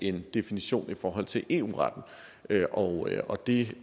en definition i forhold til eu retten og og det